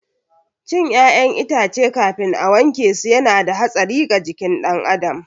Cin ƴaƴan itace kafin a wankesu yana da hatsari ga jikin ɗan adam